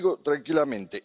Lo digo tranquilamente.